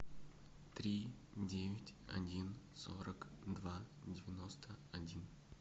три девять один сорок два девяносто один